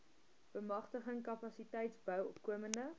bemagtiging kapasiteitsbou opkomende